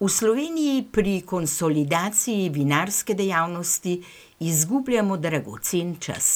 "V Sloveniji pri konsolidaciji vinarske dejavnosti izgubljamo dragocen čas.